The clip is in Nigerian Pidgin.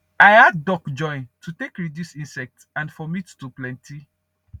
i add duck join to take reduce insect and for meat to plenty